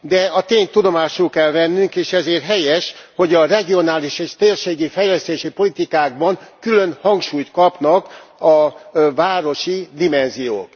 De a tényt tudomásul kell vennünk és ezért helyes, hogy a regionális és térségi fejlesztési politikákban külön hangsúlyt kapnak a városi dimenziók.